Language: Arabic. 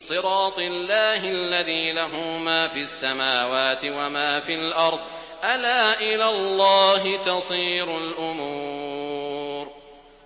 صِرَاطِ اللَّهِ الَّذِي لَهُ مَا فِي السَّمَاوَاتِ وَمَا فِي الْأَرْضِ ۗ أَلَا إِلَى اللَّهِ تَصِيرُ الْأُمُورُ